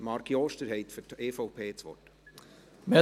Marc Jost, Sie haben für die EVP das Wort.